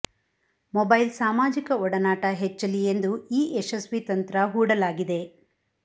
mobile ಸಾಮಾಜಿಕ ಒಡನಾಟ ಹೆಚ್ಚಲಿ ಎಂದು ಈ ಯಶಸ್ವಿ ತಂತ್ರ ಹೂಡಲಾಗಿದೆ